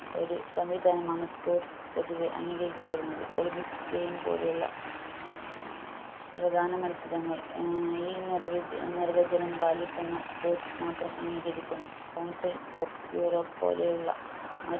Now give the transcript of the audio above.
ഒരു സംവിധാനമാണ് sports പൊതുവെ അംഗീകരിക്കപെടുന്നത് olympics game പോലുള്ള പ്രധാന മത്സരങ്ങൾ ഏർ ഈ നിർവി നിർവചനം പാലിക്കുന്ന sports മാത്രം അംഗീകരിക്കുന്നു council of യൂറോപ് പോലെയുള്ള